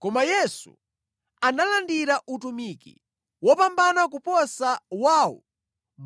Koma Yesu analandira utumiki wopambana kuposa wawo